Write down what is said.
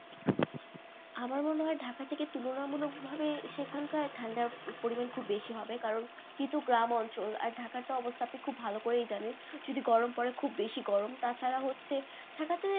আমার মনে হয় ঢাকা থেকে তুলনামূলক ভাবে সেখানকার ঠান্ডার পরিমাণ খুব বেশি হবে কারণ একেই তো গ্রাম অঞ্চল আর ঢাকার তো অবস্থা তো আপনি খুব ভালো করেই জানেন যদি গরম পরে খুববেশি গরম তাছাড়া হচ্ছে ঢাকাতে,